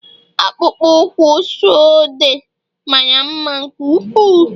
akpụkpọ ụkwụ suede mara mma nke ukwuu